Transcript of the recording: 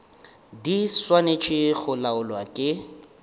di swanetše go laolwa ke